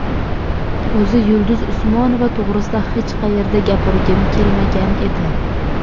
O‘zi Yulduz Usmonova to‘g‘risida hech qayerda gapirgim kelmagan edi.